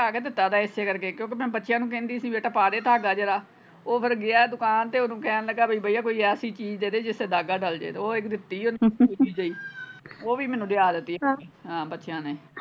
ਲਿਆ ਕੇ ਦਿੱਤਾ ਦਾ ਇਸੇ ਕਰਕੇ ਕੇ ਮੈਂ ਬੱਚਿਆਂ ਨੂੰ ਕਹਿੰਦੀ ਸੀ ਕਿ ਬੇਟਾ ਪਾ ਦੇ ਧਾਗਾ ਜਰਾ ਉਹ ਫੇਰ ਗਿਆ ਦੁਕਾਨ ਤੇ ਫੇਰ ਕਹਿਣ ਲੱਗਾ ਕਿ ਬਈਆ ਕੋਈ ਐਸੀ ਚੀਜ ਦੇਦੇ ਜਿਸਤੇ ਧਾਗਾ ਡਲਜੇ ਉਹ ਇੱਕ ਦਿੱਤੀ ਓਹਨੂੰ ਜਿਹੀ ਉਹ ਵੀ ਮੈਨੂੰ ਲਿਆ ਦਿੱਤੀ ਬੱਚਿਆਂ ਨੇ।